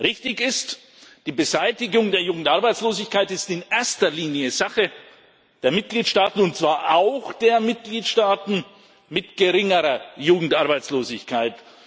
Richtig ist Die Beseitigung der Jugendarbeitslosigkeit ist in erster Linie Sache der Mitgliedstaaten, und zwar auch der Mitgliedstaaten mit geringerer Jugendarbeitslosigkeit.